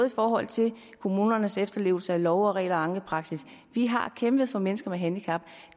i forhold til kommunernes efterlevelse af love og regler og ankepraksis vi har kæmpet for mennesker med handicap